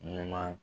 Ɲuman